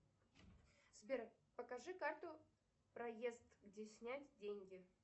сбер покажи карту проезд где снять деньги